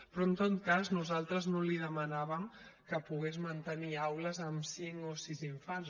però en tot cas nosaltres no li demanàvem que pogués mantenir aules amb cinc o sis infants